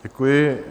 Děkuji.